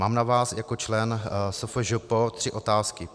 Mám na vás jako člen SFŽP tři otázky.